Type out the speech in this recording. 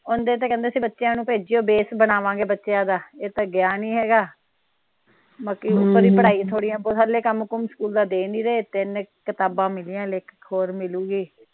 ਓਨੀ ਦੇਰ ਤਾ ਤਾ ਕਹਿੰਦੇ ਸੀ ਬੱਚਿਆਂ ਨੂੰ ਭੇਜਿਓ ਬੈਸ ਬਣਾਵਾਂਗੇ ਬੱਚਿਆਂ ਦਾ ਇਹ ਤਾ ਗਿਆ ਨਹੀਂ ਹੇਗਾ ਬਾਕੀ ਪੜ੍ਹਾਈ ਈ ਥੋੜੀ ਆ ਹਲੇ ਕੰਮ ਕੁਮ ਸਕੂਲ ਦਾ ਦੇਣ ਨਹੀਂ ਦੇ ਤਿੰਨ ਕਿਤਾਬਾਂ ਮਿਲੀਆਂ ਹਲੇ ਇਕ ਹੋਰ ਮਿਲੂਗੀ।